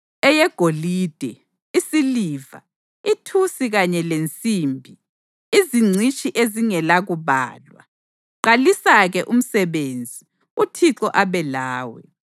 eyegolide, isiliva, ithusi kanye lensimbi, izingcitshi ezingelakubalwa. Qalisa-ke umsebenzi, uThixo abe lawe.”